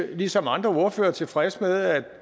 vi ligesom andre ordførere er tilfredse med at